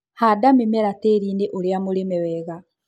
Handa mĩmera tĩriinĩ ũria mũrĩme wega.